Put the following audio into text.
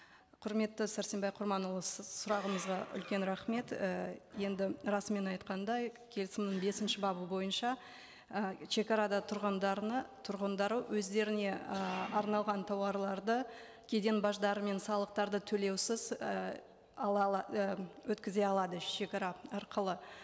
құрметті сәрсенбай құрманұлы сіз сұрағыңызға үлкен рахмет ііі енді расымен айтқандай келісімнің бесінші бабы бойынша і шегарада тұрғындарына тұрғындары өздеріне і арналған тауарларды кеден баждары мен салықтарды төлеусіз і і өткізе алады шегара арқылы